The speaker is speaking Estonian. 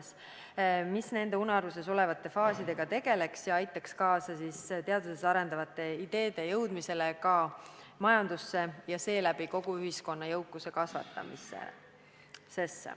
See keskus tegeleks nende unaruses olevate faasidega ja aitaks kaasa teaduses arendatavate ideede jõudmisele majandusse, kasvatades seeläbi kogu ühiskonna jõukust.